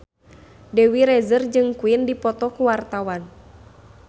Dewi Rezer jeung Queen keur dipoto ku wartawan